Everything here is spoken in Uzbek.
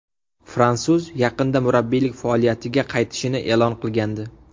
Fransuz yaqinda murabbiylik faoliyatiga qaytishini e’lon qilgandi .